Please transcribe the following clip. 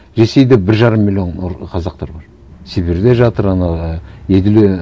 ресейде бір жарым миллион қазақтар бар сібірде жатыр ана ііі еділ і